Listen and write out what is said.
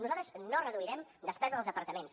nosaltres no reduirem despesa dels departaments